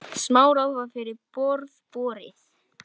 Samráð var fyrir borð borið.